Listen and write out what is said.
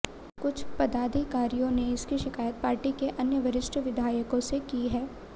कुछ पदाधिकारियों ने इसकी शिकायत पार्टी के अन्य वरिष्ठ विधायकों से की है